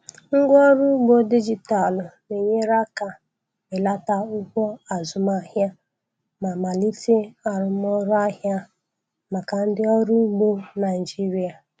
Ngwaọrụ ugbo dijitalụ na-enyere aka belata ụgwọ azụmahịa ma melite arụmọrụ ahịa maka ndị ọrụ ugbo Naijiria.